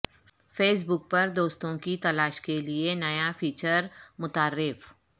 face بک پر دوستوں کی تلاش کے لیے نیا فیچر متعارف